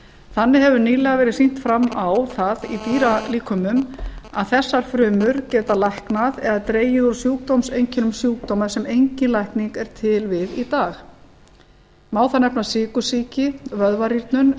þannig hefur nýlega verið sýnt fram á það í dýralíkömum að þessar frumur geta læknað eða dregið úr sjúkdómseinkennum sjúkdóma sem engin lækning er til við í dag má þar nefna sykursýki vöðvarýrnun